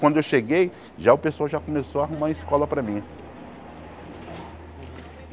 Quando eu cheguei, já o pessoal já começou a arrumar escola para mim.